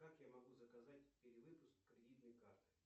как я могу заказать перевыпуск кредитной карты